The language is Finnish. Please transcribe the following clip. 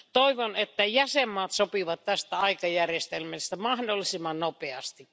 Toivon, että jäsenmaat sopivat tästä aikajärjestelmästä mahdollisimman nopeasti.